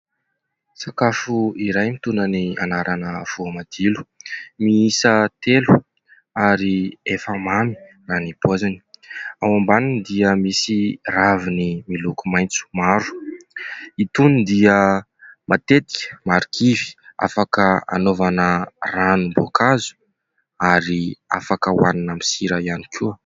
Sakafo iray mitondra ny anarana "voamadilo" miisa telo ary efa mamy raha ny paoziny, ao ambaniny dia misy raviny miloko maitso maro ; itony dia matetika marikivy, afaka hanaovana ranom-boankazo ary afaka ho hanina amin'ny sira ihany koa.